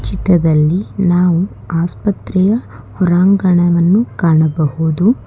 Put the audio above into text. ಚಿತ್ರದಲ್ಲಿ ನಾವು ಆಸ್ಪತ್ರೆಯ ಹೊರಾಂಗಣವನ್ನು ಕಾಣಬಹುದು.